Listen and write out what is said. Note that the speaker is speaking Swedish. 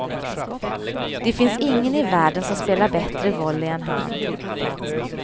Det finns ingen i världen som spelar bättre volley än han.